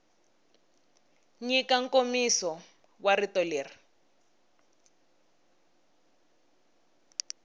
nyika nkomiso wa rito leri